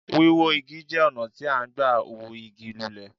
Wíwó Igi jẹ́ ọ̀nà tí à n gbà hú Igi lulẹ̀